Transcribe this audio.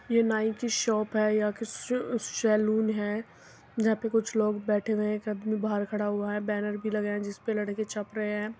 ये नाई की शॉप है। यहाँ क्व शु सैलून है। जहाँ पे कुछ लोग बैठे हुए है। एक आदमी बाहर खड़ा हुआ है। बैनर भी लगे है जिसपे लड़के छप रहे है।